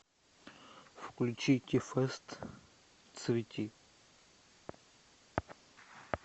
включить ти фест цвети